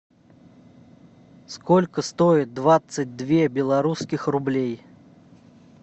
сколько стоит двадцать две белорусских рублей